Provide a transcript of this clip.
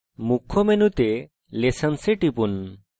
মুখ্য মেনুতে lessons এ টিপুন